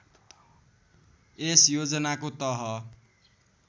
यस योजनाको तह